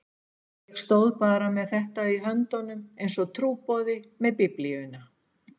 Ég stóð bara með þetta í höndunum einsog trúboði með Biblíuna.